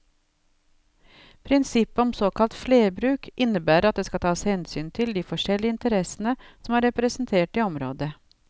Prinsippet om såkalt flerbruk innebærer at det skal tas hensyn til de forskjellige interessene som er representert i området.